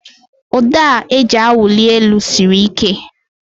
Ụdọ a eji awụli elu siri ike